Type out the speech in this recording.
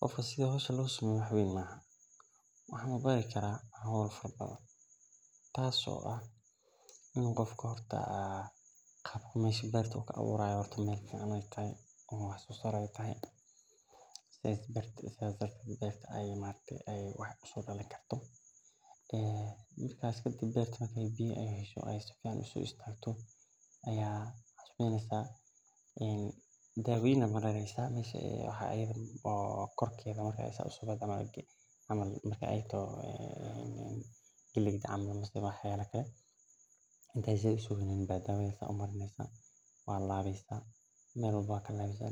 Qofka sitha hoshan losameyo waxan bari laha qabka meesha wax u kaaburayo in ee toho meel fican marka beerta marki ee sobaxdo dawa aya kor kamarineysa waa laweysa